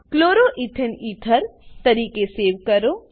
chloro ethane ether તરીકે save કરો